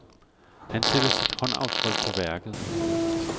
Han sætter sit håndaftryk på værket.